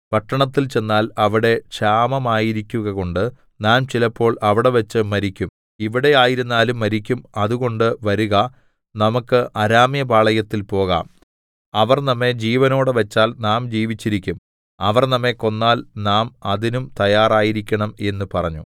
പട്ടണത്തിൽ ചെന്നാൽ അവിടെ ക്ഷാമമായിരിക്കുകകൊണ്ട് നാം ചിലപ്പോൾ അവിടെവെച്ച് മരിക്കും ഇവിടെ ആയിരുന്നാലും മരിക്കും അതുകൊണ്ട് വരുക നമുക്ക് അരാമ്യപാളയത്തിൽ പോകാം അവർ നമ്മെ ജീവനോടെ വച്ചാൽ നാം ജീവിച്ചിരിക്കും അവർ നമ്മെ കൊന്നാൽ നാം അതിനും തയാറായിരിക്കണം എന്ന് പറഞ്ഞു